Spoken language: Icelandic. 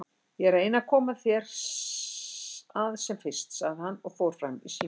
Ég reyni að koma þér að sem fyrst, sagði hann og fór fram í símann.